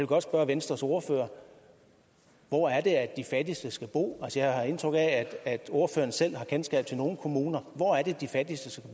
godt spørge venstres ordfører hvor er det de fattigste skal bo jeg har indtryk af at ordføreren selv har kendskab til nogle kommuner hvor er det de fattigste